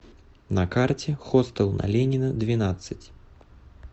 на карте хостел на ленина двенадцать